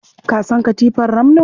Ka san katifar ramno?